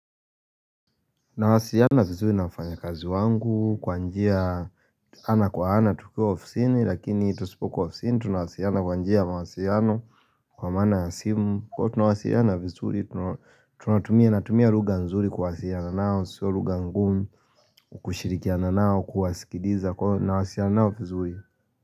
Tunawasiliana vizuri na wafanyakazi wangu kwa njia ana kwa ana tukiwa ofisini lakini tusipo kuwa ofisini tunawasiliana kwa njia ya mawasiliano Kwa maana simu kwa tunawasiliana vizuri tunatumia lugha nzuri kuwasiliana nao sio lugha ngumu kushirikiana nao kuwasikiliza nawasiliana nao vizuri.